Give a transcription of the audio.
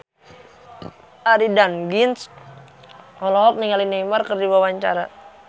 Arie Daginks olohok ningali Neymar keur diwawancara